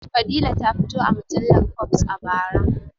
Fadila ta fito a mujallar fobes a bara